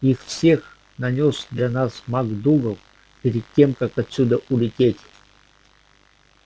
их все нанёс для нас мак-дугал перед тем как отсюда улететь